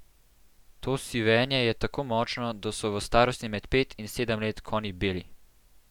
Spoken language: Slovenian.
To sivenje je tako močno, da so v starosti med pet in sedem let konji beli.